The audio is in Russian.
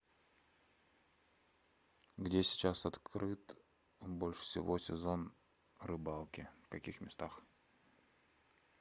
где сейчас открыт больше всего сезон рыбалки в каких местах